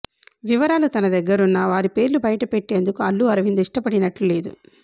వివరాలు తన దగ్గరున్నా వారి పేర్లు బయటపెట్టేందుకు అల్లు అరవింద్ ఇష్టపడినట్టు లేదు